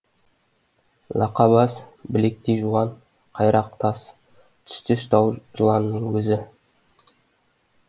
лақа бас білектей жуан қайрақ тас түстес тау жыланының өзі